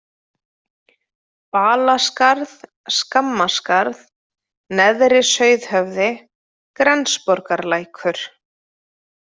Balaskarð, Skammaskarð, Neðri-Sauðhöfði, Grensborgarlækur